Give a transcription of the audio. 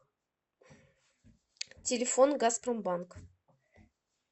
телефон газпромбанк